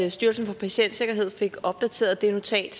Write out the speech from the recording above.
at styrelsen for patientsikkerhed fik opdateret det notat